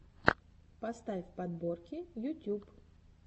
поставь подборки ютюб